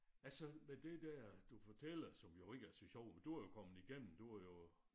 Altså med det der du fortæller som jo ikke er så sjovt men du er jo kommet igennem du er jo